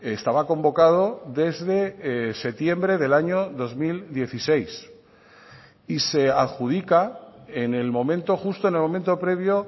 estaba convocado desde septiembre del año dos mil dieciséis y se adjudica en el momento justo en el momento previo